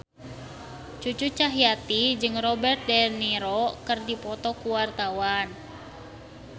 Cucu Cahyati jeung Robert de Niro keur dipoto ku wartawan